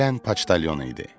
Gələn paçtalyon idi.